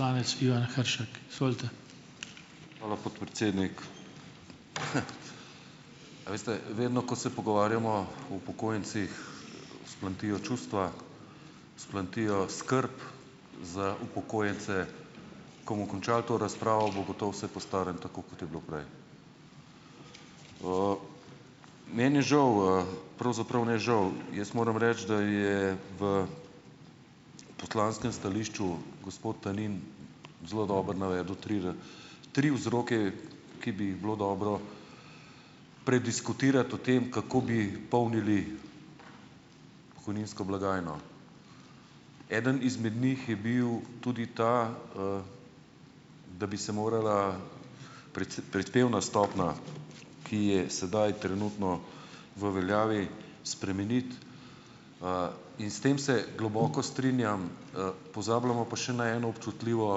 Poslanec Ivan Hršak, izvolite. Hvala podpredsednik. A veste, vedno, ko se pogovarjamo o upokojencih, vzplamtijo čustva, vzplamti skrb za upokojence . Ko bomo končali to razpravo, bo gotovo vse po starem, tako kot je bilo prej. meni je žal, pravzaprav ne žal , jaz moram reči, da je v poslanskem stališču gospod Talin zelo dobro navedel tri tri vzroke, ki bi jih bilo dobro prediskutirati o tem, kako bi polnili pokojninsko blagajno. Eden izmed njih je bil tudi ta, da bi se morala prispevna stopnja , ki je sedaj trenutno v veljavi, spremeniti, in s tem se globoko strinjam, pozabljamo pa še na eno občutljivo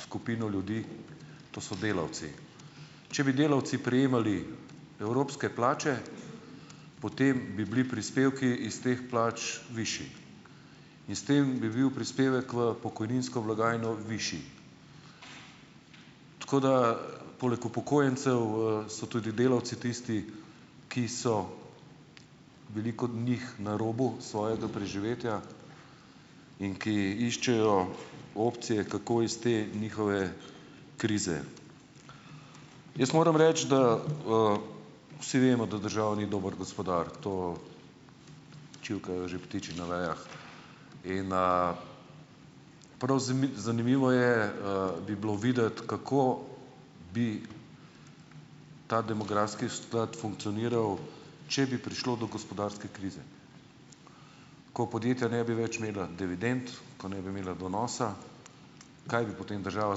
skupino ljudi, to so delavci . Če bi delavci prejemali evropske plače, potem bi bili prispevki iz teh plač višji. S tem bi bil prispevek v pokojninsko blagajno višji. Tako da, poleg upokojencev, so tudi delavci tisti, ki so, veliko od njih, na robu svojega preživetja in ki iščejo opcije, kako iz te njihove krize. Jaz moram reči, da, vsi vemo, da država ni dober gospodar. To čivkajo že ptiči na vejah . In, prav zanimivo je, bi bilo videti, kako bi ta demografski sklad funkcioniral, če bi prišlo do gospodarske krize. Ko podjetja ne bi več imela dividend, ko ne bi imela donosa. Kaj potem država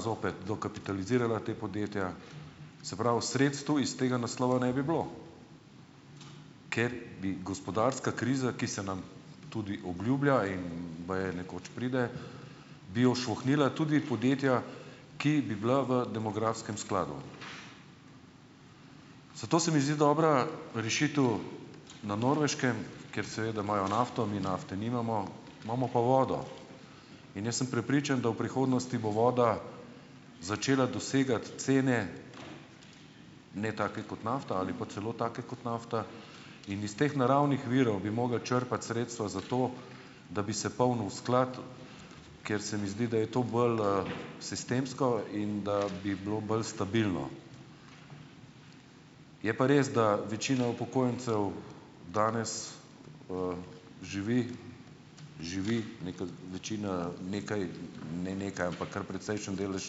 zopet dokapitalizirala ta podjetja. Se prav, sredstev iz tega naslova ne bi bilo. Ker bi gospodarska kriza, ki se nam tudi obljublja in baje nekoč pride, bi ošvohnila tudi podjetja , ki bi bila v demografskem skladu. Zato se mi zdi dobra rešitev na Norveškem, kjer seveda imajo nafto , mi nafte nimamo, imamo pa vodo . In jaz sem prepričan, da v prihodnosti bo voda začela dosegati cene, ne tako kot nafta, ali pa celo take kot nafta, in iz teh naravnih virov bi mogli črpati sredstva zato , da bi se polnil sklad, kjer se mi zdi, da je to bolj, sistemsko in da bi bilo bolj stabilno. Je pa res, da večina upokojencev danes, živi, živi nekako večina nekaj, ne nekaj, ampak kar precejšen delež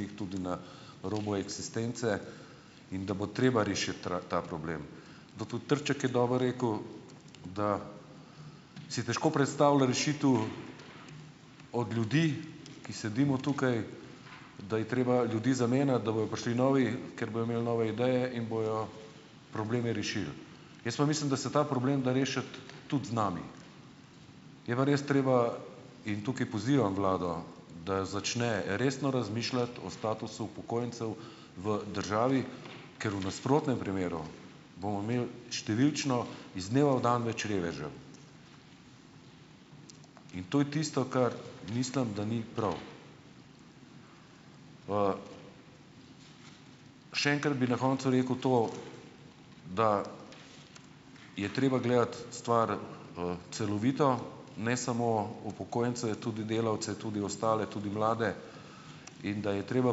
njih, tudi na robu eksistence in da bo treba rešiti ta problem. Zato tudi Trček je dobro rekel, da si je težko predstavlja rešitev od ljudi, ki sedimo tukaj, da je treba ljudi zamenjati, da bojo prišli novi, ker bojo imeli nove ideje in bojo probleme rešili. Jaz pa mislim, da se ta problem da rešiti tudi z nami. Je pa res treba, in tukaj pozivam vlado, da jo začne resno razmišljati o statusu upokojencev v državi, ker v nasprotnem primeru bomo imeli, številčno, iz dneva v dan več revežev. In to je tisto, kar mislim, da ni prav . Še enkrat bi na koncu rekel to, da je treba gledati stvar, celovito, ne samo upokojence, je tudi delavce, tudi ostale, tudi mlade in da je treba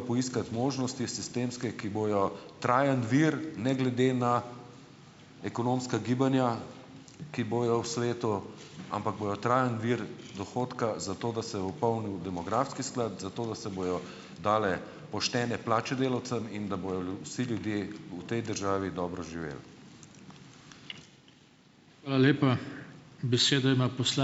poiskati možnosti sistemske, ki bojo trajen vir ne glede na ekonomska gibanja, ki bojo v svetu, ampak bojo trajni vir dohodka, zato da se bo polnil demografski sklad , zato da se bojo dalje poštene plače delavcem in da bojo vsi ljudje v tej državi dobro živeli. Hvala lepa. Besedo ima ...